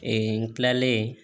Ee n kilalen